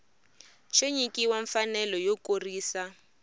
xo nyikiwa mfanelo yo kurisa